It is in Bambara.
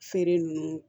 Feere nunnu